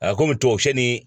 A komi tubabu sɛ ni